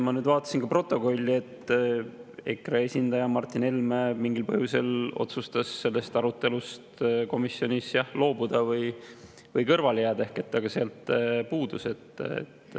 Ma nüüd vaatasin protokollist, et EKRE esindaja Martin Helme mingil põhjusel otsustas sellest arutelust komisjonis loobuda või kõrvale jääda, ta sealt puudus.